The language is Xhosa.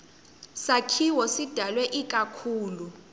sakhiwo sidalwe ikakhulu